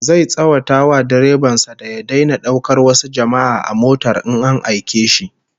Zai tsawata wa direban sa da ya daina daukar wasu jama'a a motar in an aike shi